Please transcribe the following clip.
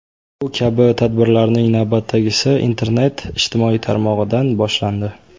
Bu kabi tadbirlarning navbatdagisi internet ijtimoiy tarmog‘idan boshlandi.